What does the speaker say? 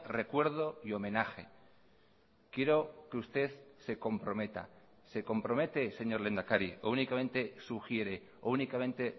recuerdo y homenaje quiero que usted se comprometa se compromete señor lehendakari o únicamente sugiere o únicamente